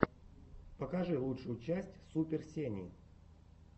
покажи лучшую часть супер сени